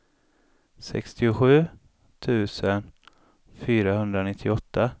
sextiosju tusen fyrahundranittioåtta